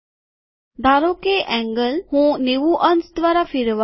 ધારો કે એન્ગલ હું ૯૦ અંશ દ્વારા ફેરવવા માંગું છું